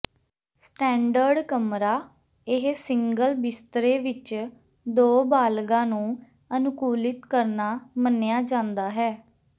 standard ਕਮਰਾ ਇਹ single ਬਿਸਤਰੇ ਵਿਚ ਦੋ ਬਾਲਗਾਂ ਨੂੰ ਅਨੁਕੂਲਿਤ ਕਰਨਾ ਮੰਨਿਆ ਜਾਂਦਾ ਹੈ